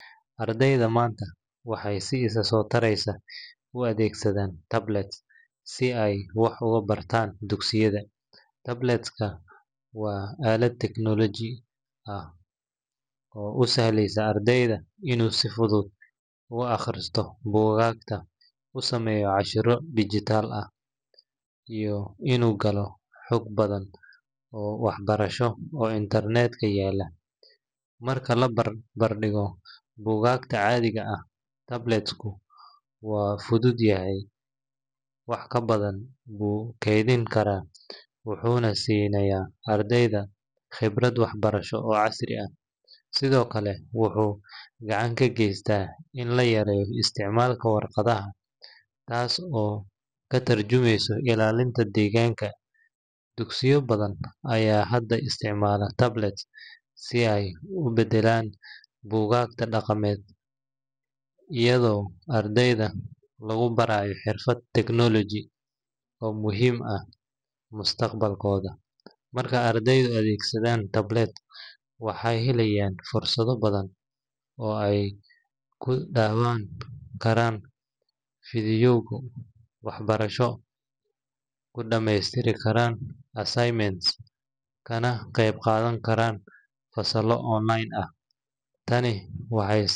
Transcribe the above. Ardayda maanta waxay si isa soo taraysa u adeegsadaan tablet si ay wax ugu bartaan dugsiyada. Tablet-ka waa aalad elektaroonig ah oo u sahlaysa ardayga inuu si fudud ugu akhriyo buugaagta, u sameeyo casharro digital ah, iyo inuu galo xog badan oo waxbarasho oo internet-ka yaalla. Marka la barbar dhigo buugaagta caadiga ah, tablet-ku waa fudud yahay, wax badan buu kaydin karaa, wuxuuna siinayaa ardayga khibrad waxbarasho oo casri ah. Sidoo kale, wuxuu gacan ka geystaa in la yareeyo isticmaalka warqadda, taas oo ka tarjumaysa ilaalinta deegaanka. Dugsiyo badan ayaa hadda isticmaala tablet si ay u beddelaan buugaagta dhaqameed, iyadoo ardayda lagu barayo xirfado technology oo muhiim u ah mustaqbalkooda. Marka ardaydu adeegsadaan tablet, waxay helayaan fursado badan oo ay ku daawan karaan fiidiyowyo waxbarasho, ku dhammaystiri karaan assignments, kana qaybqaadan karaan fasallo online ah. Tani waxay.